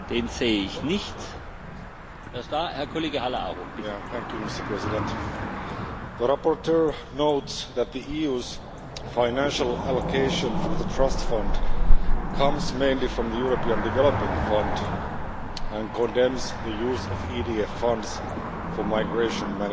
Mr President, the rapporteur notes that the EU's financial allocation for the Trust Fund comes mainly from the European Development Fund and he condemns the use of EDF funds for migration management.